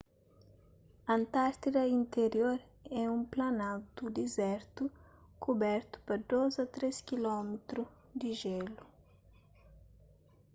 antártida interior é un planaltu dizertu kubertu pa 2-3 km di jélu